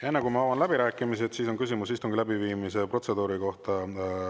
Enne kui ma avan läbirääkimised, on küsimus istungi läbiviimise protseduuri kohta.